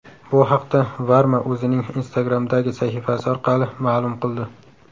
Bu haqda Varma o‘zining Instagram’dagi sahifasi orqali ma’lum qildi .